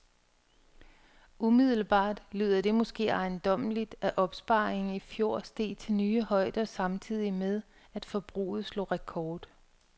Umiddelbart lyder det måske ejendommeligt, at opsparingen i fjor steg til nye højder samtidig med, at forbruget slog rekord.